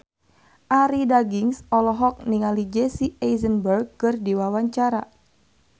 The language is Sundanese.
Arie Daginks olohok ningali Jesse Eisenberg keur diwawancara